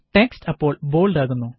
text അപ്പോള് bold ആകുന്നു